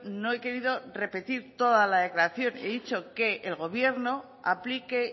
no he querido repetir toda la declaración y dicho que el gobierno aplique